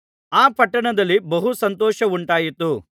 ಆ ಪಟ್ಟಣದಲ್ಲಿ ಬಹು ಸಂತೋಷವುಂಟಾಯಿತು